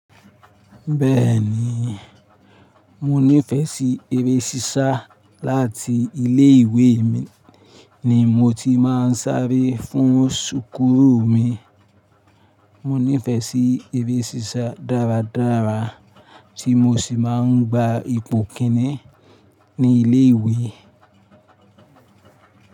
Bẹ́ẹ̀ni, mo nífẹsí eré sísá láti ilé ìwé mi ni mo ti máa ń sáré fún súkúrù mi. Mo nífẹsí eré sísá dáradára tí mo sì máa ń gba ipò kìn-ín ní ilé ìwé.